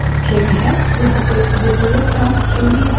यहाँ एक द्वितीयक prompt string भी है